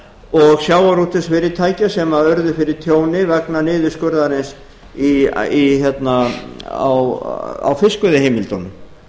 og sjávarútvegsfyrirtækja sem urðu fyrir tjóni vegna niðurskurðarins á fiskveiðiheimildum